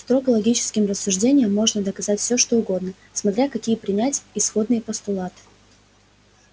строго логическим рассуждением можно доказать всё что угодно смотря какие принять исходные постулаты